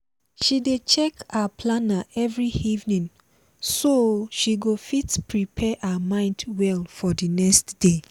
she dey check her planner every evening so she go fit prepare her mind well for the nxt day